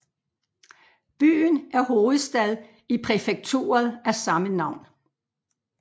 Byen er hovedstad i præfekturet af samme navn